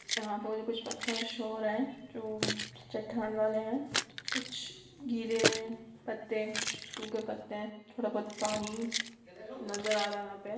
यहां पर कुछ मुझे पत्थर शो हो रहे है जो चट्टान वाले है कुछ गीले पत्ते कुछ सूखे पत्ते है थोड़ा बहुत पानी नजर आ रहे है यहां पे।